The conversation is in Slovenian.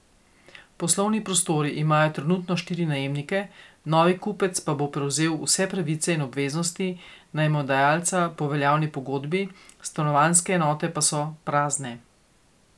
Poslovni prostori imajo trenutno štiri najemnike, novi kupec pa bo prevzel vse pravice in obveznosti najemodajalca po veljavni pogodbi, stanovanjske enote pa so prazne.